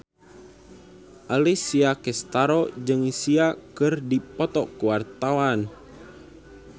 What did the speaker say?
Alessia Cestaro jeung Sia keur dipoto ku wartawan